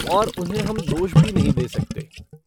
और उन्हें हम दोष भी नहीं दे सकते।